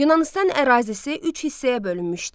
Yunanıstan ərazisi üç hissəyə bölünmüşdü.